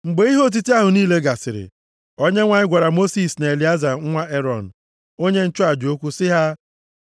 Mgbe ihe otiti ahụ niile gasịrị, Onyenwe anyị gwara Mosis na Elieza nwa Erọn, onye nchụaja okwu sị ha,